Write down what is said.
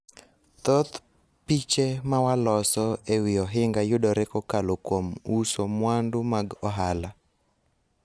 thoth piche ma waloso e wi ohinga yudore kokalo kuom uso mwandu mag ohala